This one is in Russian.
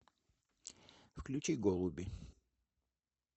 включи голуби